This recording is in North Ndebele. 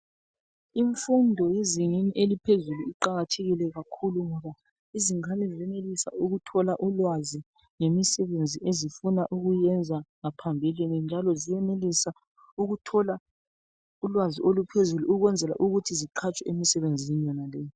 Imfundo yezingeni eliphezulu iqakathekile kakhulu ngoba izingane ziyenelisa ukuthola ulwazi ngemisebenzi ezifuna ukuyenza ngaphambilini. Njalo ziyenelisa ukuthola ulwazi oluphezulu ukwenzela ukuthi ziqhatshwe emisebenzini yonaleyi.